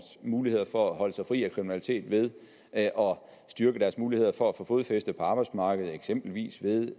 muligheder for at holde sig fri af kriminalitet ved at styrke deres muligheder for at få fodfæste på arbejdsmarkedet eksempelvis med